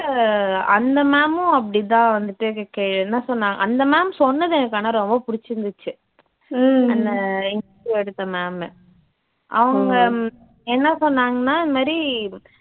உ அந்த ma'am உம் அப்படித்தான் வந்துட்டு எனக்கு என்ன சொன்னா அந்த ma'am சொன்னது எனக்கு ஆனா ரொம்ப பிடிச்சிருந்துச்சு அந்த interview எடுத்த ma'am அவங்க என்ன சொன்னாங்கன்னா இந்த மாதிரி